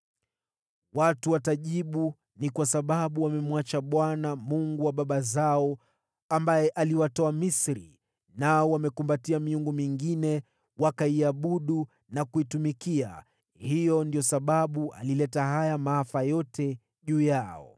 Watu watajibu, ‘Ni kwa sababu wamemwacha Bwana , Mungu wa baba zao, aliyewatoa Misri, nao wamekumbatia miungu mingine, wakaiabudu na kuitumikia, ndiyo sababu ameyaleta maafa haya yote juu yao.’ ”